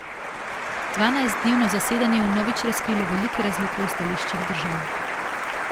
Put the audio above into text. Dvanajstdnevno zasedanje je vnovič razkrilo velike razlike v stališčih držav.